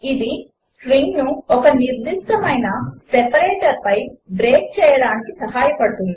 ఇది స్ట్రింగ్ను ఒక నిర్దిష్టమైన సెపరేటర్పై బ్రేక్ చేయుటకు సహాయపడుతుంది